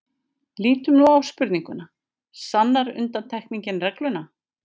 Lítum nú á spurninguna: sannar undantekningin regluna?.